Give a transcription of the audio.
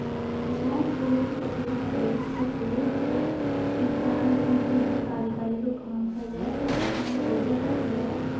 जिया थे लोग देख सको दो इंसान दो मीनख कारीगर को काम कर रहा है बे हाथ म हथोड़ो पकड़ रखो है।